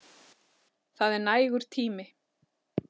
Það er nægur tími.